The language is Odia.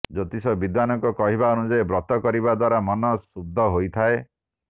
ଜ୍ୟୋତିଷ ବିଦ୍ୱାନଙ୍କ କହିବାନୁଯାୟୀ ବ୍ରତ କରିବା ଦ୍ୱାରା ମନ ସୁଦ୍ଧ ହୋଇଥାଏ